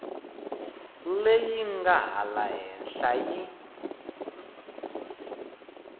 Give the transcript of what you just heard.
leyi nga laha henhla yi